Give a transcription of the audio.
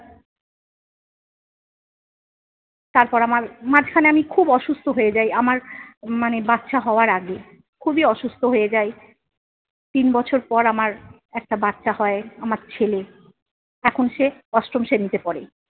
তারপর আমার, মাঝখানে আমি খুব অসুস্থ হয়ে যাই আমার মানে বাচ্চা হওয়ার আগে। খুবই অসুস্থ হয়ে যাই। তিন বছর পর আমার একটা বাচ্চা হয়, আমার ছেলে। এখন সে অষ্টম শ্রেণীতে পড়ে।